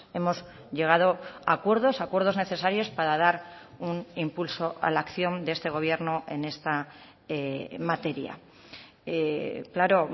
hemos llegado a acuerdos acuerdos necesarios para dar un impulso a la acción de este gobierno en esta materia claro